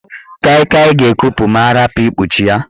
Kai Kai ga-ekupu ma arapu ikpuchi ya.